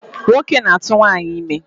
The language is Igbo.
Nwoke na-atụ nwaanyị ime.